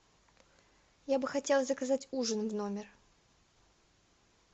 я бы хотела заказать ужин в номер